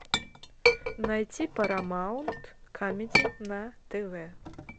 найти парамаунт камеди на тв